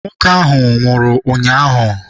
Nwoke ahụ nwụrụ ụnyaahụ.